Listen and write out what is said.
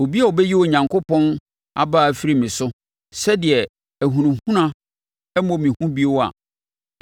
obi a ɔbɛyi Onyankopɔn abaa afiri me so, sɛdeɛ nʼahunahuna mmɔ me hu bio a,